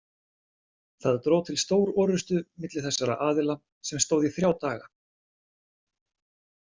Það dró til stórorrustu milli þessara aðila sem stóð í þrjá daga.